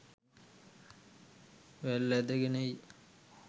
වැල් ඇදගෙන එයි.